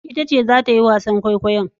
Ita ce zata yi wasan kwaikwayon.